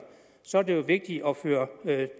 så er det jo vigtigt at føre